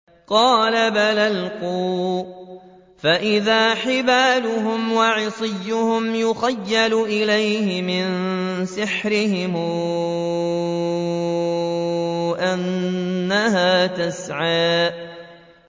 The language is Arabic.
قَالَ بَلْ أَلْقُوا ۖ فَإِذَا حِبَالُهُمْ وَعِصِيُّهُمْ يُخَيَّلُ إِلَيْهِ مِن سِحْرِهِمْ أَنَّهَا تَسْعَىٰ